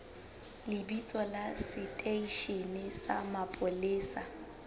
lebitso la seteishene sa mapolesa